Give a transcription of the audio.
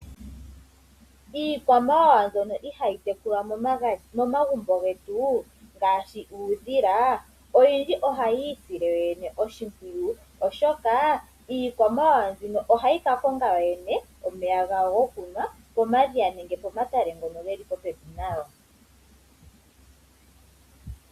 Iikwamawawa mbyono ihayi tekulwa momagumbo getu ngaashi uudhila oyindji ohayi isile yoyene oshimpwiyu, oshoka iikwamawawa mbino ohayi ka konga yoyene omeya gayo gokunwa pomatale nenge pomadhiya ngoko ge li popepi nayo.